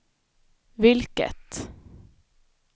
vilket